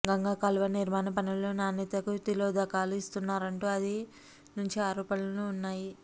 గంగ కాలువ నిర్మాణ పనుల్లో నాణ్యతకు తిలోదకాలు ఇస్తున్నారంటూ ఆది నుంచి ఆరోపణలు ఉన్నాయి